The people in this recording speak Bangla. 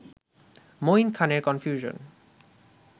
মঈন খানের কনফিউশন